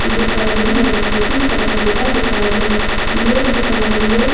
दुकान है जो कि कपड़ों का दुकान है। ये दुकान में --